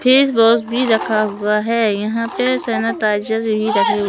Face wash भी रखा हुआ है। यहां पर सैनिटाइजर ही रहे--